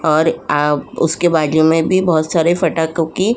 और आ उसके बाजू मे भी बहुत सारे फाटकों की --